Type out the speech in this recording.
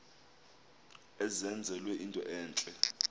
enzelwe into entle